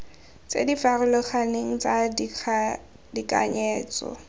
tse di farologaneng tsa tekanyetso